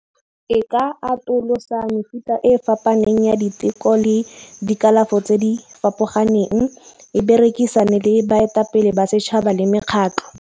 E ka atolosa mefuta e fapaneng ya diteko le dikalafo tse di fapoganeng, e berekisane le baetapele ba setšhaba le mekgatlo.